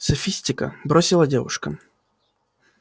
софистика бросила девушка